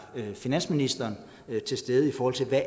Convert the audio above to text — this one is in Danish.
finansministeren til stede i forhold til